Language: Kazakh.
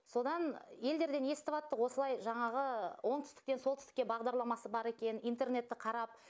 содан елдерден естіваттық осылай жаңағы оңтүстіктен солтүстікке бағдарламасы бар екенін интернетті қарап